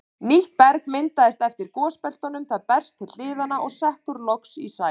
Nýtt berg myndast eftir gosbeltunum, það berst til hliðanna og sekkur loks í sæ.